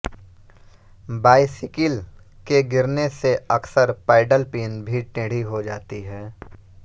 bicycle के गिरने से अकसर पैडल पिन भी टेढ़ी हो जाती है